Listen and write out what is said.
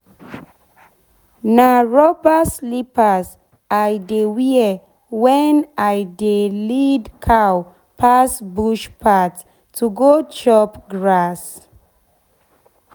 na rubber slippers i dey wear wen i dey lead cow pass bush path to go chop grass.